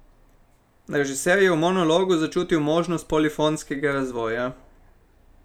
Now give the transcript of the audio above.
Režiser je v monologu začutil možnost polifonskega razvoja.